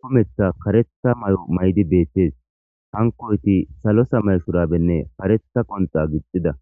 kumetha karetha may7o maydi beettes hankoyti salosa mayshurabenne kareta qonxa gixxida.